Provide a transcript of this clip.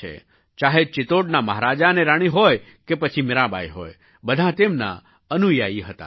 ચાહે ચિત્તોડના મહારાજા અને રાણી હોય કે પછી મીરાબાઈ હોય બધાં તેમના અનુયાયી હતાં